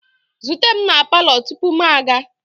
Zute m na palọ tupu m aga!